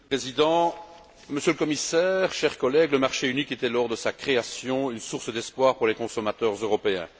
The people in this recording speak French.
Monsieur le Président, Monsieur le Commissaire, chers collègues, le marché unique était, lors de sa création, une source d'espoir pour les consommateurs européens.